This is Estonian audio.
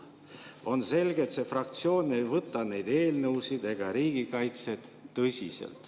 On selge, et see fraktsioon ei võta neid eelnõusid ega riigikaitset tõsiselt.